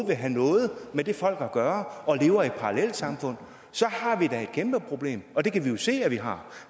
vil have noget med det folk at gøre og lever i et parallelsamfund så har vi da et kæmpeproblem og det kan vi jo se at vi har